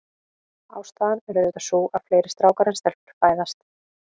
Ástæðan er auðvitað sú, að fleiri strákar en stelpur fæðast.